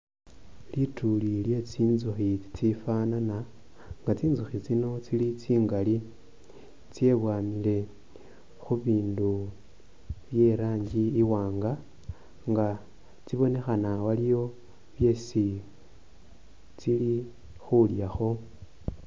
Lituli lye tsitsukhi tsifanana nga tsintsukhi tsino tsili tsingali tsebwanile khubindu byerangi iwanga nga tsibonekhana waliwo byesi tsili khulyakho.